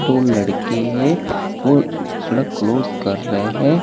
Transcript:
दो लड़के है और सड़क क्लोज कर रहे है।